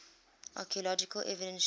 archaeological evidence shows